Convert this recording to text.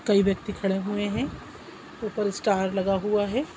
कई व्यक्ति खड़े हुए है ऊपर स्टार लगा हुआ है।